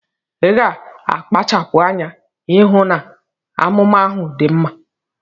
Iga akpachapu anya ihu na anumanu ahu di mma